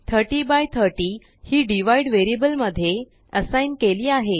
3030हिdivideवेरिअबल मध्ये असाइग्नकेली आहे